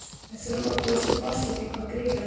Við þurfum að komast til botns í því hvað Grýla vill.